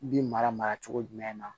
Bin mara mara cogo jumɛn na